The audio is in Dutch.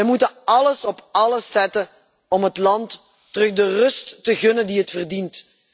We moeten alles op alles zetten om het land wederom de rust te gunnen die het verdient.